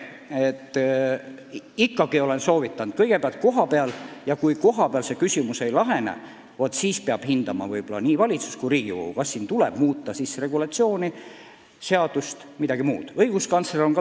Ma olen kõigile soovitanud asi ise ära otsustada ja kui kohapeal küsimus ei lahene, vaat siis peavad nii valitsus kui ka Riigikogu mõtlema, kas muuta seadust või mingit muud regulatsiooni.